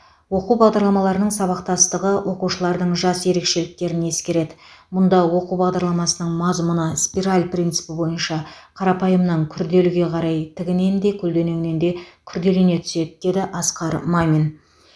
оқу бағдарламаларының сабақтастығы оқушылардың жас ерекшеліктерін ескереді мұнда оқу бағдарламасының мазмұны спираль принципі бойынша қарапайымнан күрделіге қарай тігінен де көлденеңінен де күрделене түседі деді асқар мамин